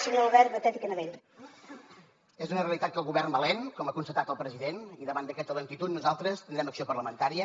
és una realitat que el govern va lent com ha constatat el president i davant d’aquesta lentitud nosaltres tindrem acció parlamentària